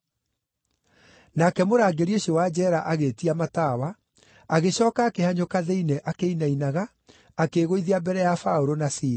Nake mũrangĩri ũcio wa njeera agĩĩtia matawa, agĩcooka akĩhanyũka thĩinĩ akĩinainaga, akĩĩgũithia mbere ya Paũlũ na Sila.